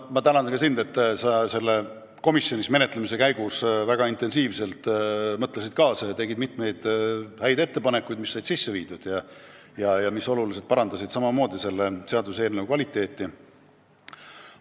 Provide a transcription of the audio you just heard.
Ma tänan ka sind, et sa komisjonis menetlemise käigus väga intensiivselt mõtlesid kaasa ja tegid mitu head ettepanekut, mis said ka sisse viidud ja parandasid nõnda seaduseelnõu kvaliteeti.